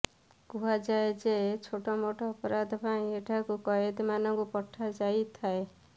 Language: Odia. କୁହାଯାଏ ଯେ ଛୋଟମୋଟ ଅପରାଧ ପାଇଁ ଏଠାକୁ କଏଦୀମାନଙ୍କୁ ପଠାଯାଇଥାଏ